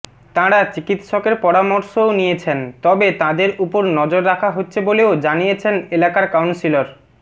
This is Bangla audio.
তাঁরা চিকিৎসকের পরামর্শও নিয়েছেন তবে তাঁদের উপর নজর রাখা হচ্ছে বলেও জানিয়েছেন এলাকার কাউন্সিলর